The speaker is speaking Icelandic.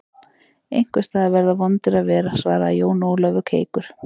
Einhvers staðar verða vondir að vera, svaraði Jón Ólafur keikur.